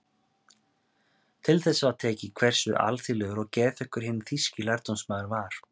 Til þess var tekið hversu alþýðlegur og geðþekkur hinn þýski lærdómsmaður var.